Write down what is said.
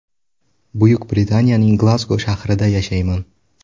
Buyuk Britaniyaning Glazgo shahrida yashayman.